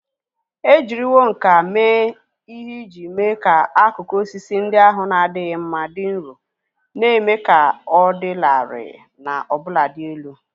E jiriwo nkà mee ihe iji mee ka akụkụ osisi ndị ahụ na-adịghị mma dị nro, na-eme ka ọ dị larịị na ọbụnadị elu.